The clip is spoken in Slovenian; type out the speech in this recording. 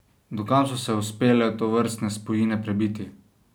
Do kam so se uspele tovrstne spojine prebiti?